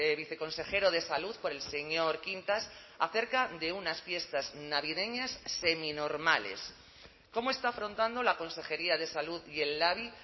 viceconsejero de salud por el señor quintas acerca de unas fiestas navideñas seminormales cómo está afrontando la consejería de salud y el labi